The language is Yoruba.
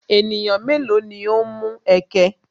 Ènìyàn mélòó ni o ń mú ẹ̀kẹ̀?